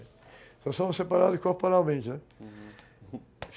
Só somos separados corporalmente, né? Uhum.